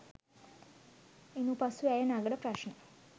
ඉනු පසු ඇය නඟන ප්‍රශ්න